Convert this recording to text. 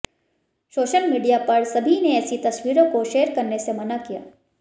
social media पर सभी ने ऐसी तस्वीरों को शेयर करने से मना किया